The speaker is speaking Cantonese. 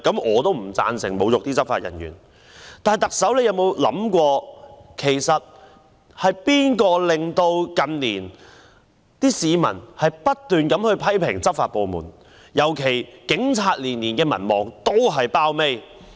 我也不贊成侮辱執法人員，但特首有否想過，是誰令市民近年不斷批評執法部門，尤其令警察的民望每年都墊底呢？